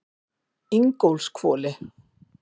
Ingólfshvoli